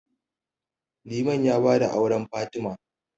Liman ya ba da auren Fatima.